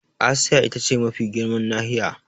Asiya ita ce mafi girman nahiya.